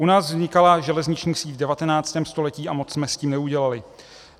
"U nás vznikala železniční síť v 19. století a moc jsme s tím neudělali.